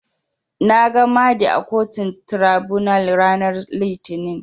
Nags Mahdi a kotun Tiraibunal ranar Litinin.